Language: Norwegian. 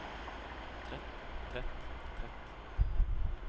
trett trett trett